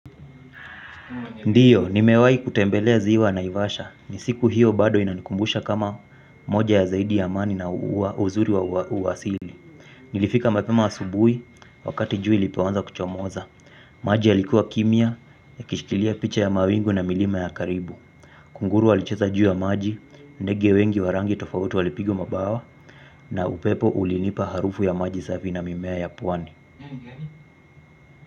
Ndiyo, nimewai kutembelea ziwa naivasha. Nisiku hiyo bado inanikumbusha kama moja ya zaidi ya mani na uzuri wa uwasili. Nilifika mapema asubui wakati jua ilipoanza kuchomoza. Maji ya likuwa kimia ya kishikilia picha ya mawingu na milima ya karibu. Kunguru walicheza juu ya maji, ndege wengi warangi tofautu walipigwa mabawa na upepo ulinipa harufu ya maji safi na mimea ya pwani.